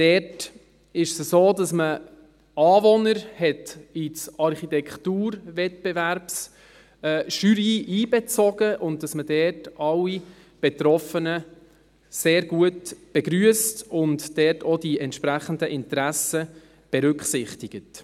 Dort ist es so, dass man Anwohner in die Architekturwettbewerbsjury einbezogen hat, dass man dort alle Betroffenen sehr gut begrüsst und dort auch die entsprechenden Interessen berücksichtigt.